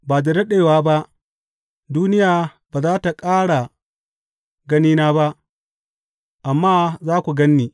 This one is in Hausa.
Ba da daɗewa ba, duniya ba za tă ƙara ganina ba, amma za ku gan ni.